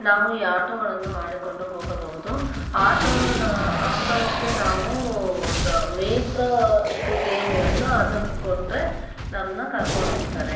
ನಾವು ಈ ಆಟೋಗಳನ್ನು ಮಾಡಿಕೊಂಡು ಹೋಗಬಹುದು. ಆಟೋನ ಆಟೋಕೆ ನಾವು ದ ಮಿಟ್ರ ದುಡ್ಡೆಯೇನ್ ಇರುತ್ತೋ ಅದನ್ನ ಕೊಟ್ರೆ ನಮ್ಮನ ಕರಕೊಂಡ ಹೋಗತ್ತರೆ.